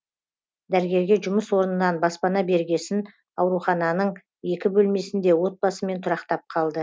дәрігерге жұмыс орнынан баспана бергесін ауруханының екі бөлмесінде отбасымен тұрақтап қалды